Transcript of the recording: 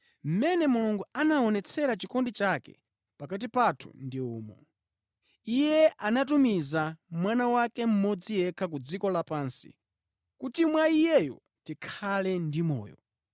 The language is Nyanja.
Mmene Mulungu anaonetsera chikondi chake pakati pathu ndi umu: Iye anatumiza Mwana wake mmodzi yekha ku dziko lapansi kuti mwa Iyeyo tikhale ndi moyo.